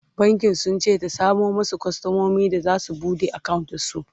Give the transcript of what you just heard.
bankin sunce ta samo masu kwastamomi da zasu buɗe akawunt da su